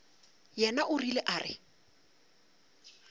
yena o rile a re